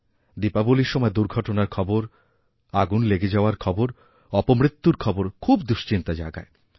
দীপাবলীর সময় দুর্ঘটনার খবর আগুন লেগেযাওয়ার খবর অপমৃত্যুর খবর খুব দুশ্চিন্তা জাগায়